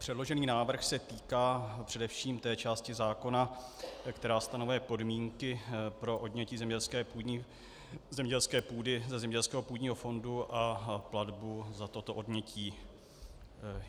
Předložený návrh se týká především té části zákona, která stanoví podmínky pro odnětí zemědělské půdy ze zemědělského půdního fondu a platbu za toto odnětí.